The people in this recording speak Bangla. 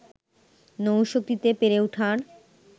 নৌশক্তিতে পেরে ওঠার